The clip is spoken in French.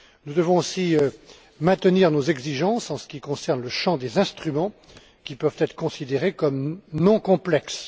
Nous devons aussi maintenir nos exigences en ce qui concerne le champ des instruments qui peuvent être considérés comme non complexes.